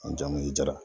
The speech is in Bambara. N jamu ye jara